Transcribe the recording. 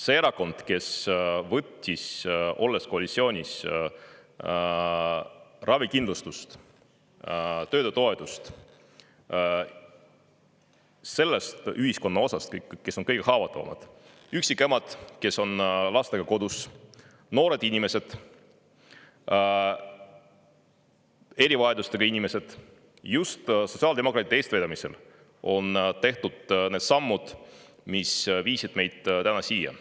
See erakond, kes võttis koalitsioonis olles ravikindlustuse toetust sellelt ühiskonnaosalt, kes on kõige haavatavamad – üksikemad, kes on lastega kodus, noored inimesed, erivajadustega inimesed – just sotsiaaldemokraatide eestvedamisel on tehtud need sammud, mis on meid täna siia toonud.